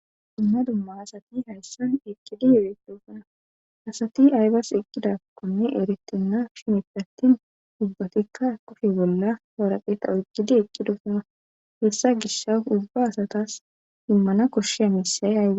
dumma dumma asati hayssan eqqidi yo7edufana asati aybas eqqidakkonne erettenna shimeppe attin ubbatikka koshe bolla hwaraqeeta oqqidi eqqidosana hessa gishsa ubba asatas dimmana koshsheya miisay aa